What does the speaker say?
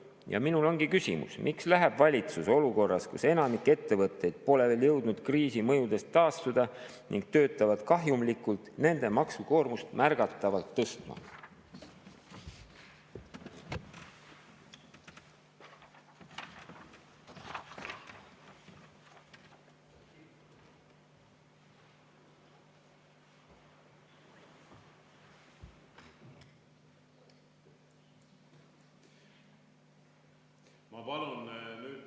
Ja minul ongi küsimus: miks läheb valitsus olukorras, kus enamik ettevõtteid pole veel jõudnud kriisi mõjudest taastuda ning töötavad kahjumlikult, nende maksukoormust märgatavalt tõstma?